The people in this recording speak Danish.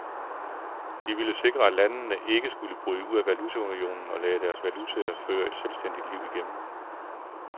De ville sikre, at landene ikke skulle bryde ud af valutaunionen og lade deres valutaer føre et selvstændigt liv igen.